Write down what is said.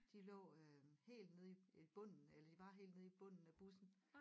De lå øh helt nede i i bunden eller de var helt nede i bunden af bussen